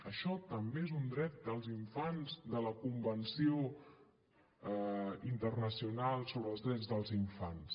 això també és un dret dels infants de la convenció internacional sobre els drets dels infants